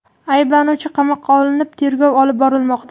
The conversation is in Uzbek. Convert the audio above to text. Ayblanuvchi qamoqqa olinib, tergov olib borilmoqda.